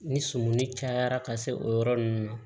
Ni sumuni cayara ka se o yɔrɔ nunnu ma